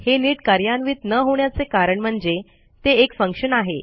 हे नीट कार्यान्वित न होण्याचे कारण म्हणजे ते एक फंक्शन आहे